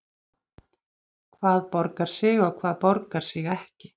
Hvað borgar sig og hvað borgar sig ekki?